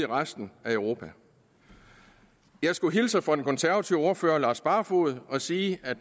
resten af europa jeg skulle hilse fra den konservative ordfører herre lars barfoed og sige at